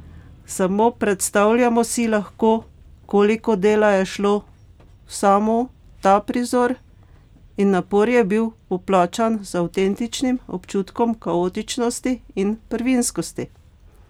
Samo predstavljamo si lahko, koliko dela je šlo v samo ta prizor, in napor je bil poplačan z avtentičnim občutkom kaotičnosti in prvinskosti.